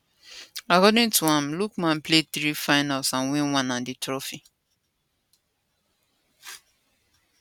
according to am lookman play three finals and win one and di trophy